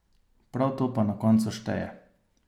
Prav to pa na koncu šteje.